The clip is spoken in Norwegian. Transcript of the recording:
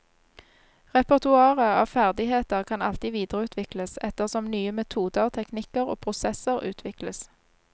Repertoaret av ferdigheter kan alltid videreutvikles, etter som nye metoder, teknikker og prosesser utvikles.